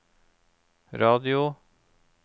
radio